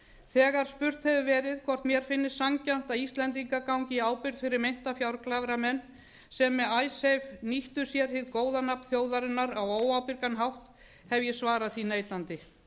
þegar spurt hefur verið hvort mér finnist sanngjarnt að íslendingar gangi í ábyrgð fyrir meinta fjárglæframenn sem með icesave nýttu sér hið góða nafn þjóðarinnar á óábyrgan hátt hef ég svarað því neitandi